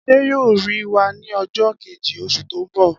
Adé yóò rí wa ní o̩jó̩ keji, os̩ù tó ń bò